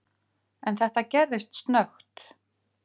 En þetta gerðist snöggt.